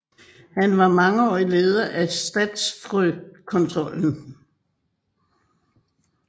Han var mangeårig leder af Statfrøkontrollen